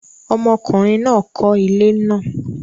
ọmọkùnrin náà kọ́ ilé náà